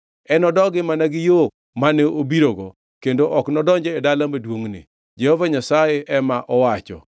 Enodogi mana gi yo mane obirogo; kendo ok enodonj e dala maduongʼni, Jehova Nyasaye ema owacho.